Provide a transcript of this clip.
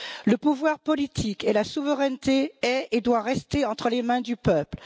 Le pouvoir politique et la souveraineté sont et doivent rester entre les mains du peuple.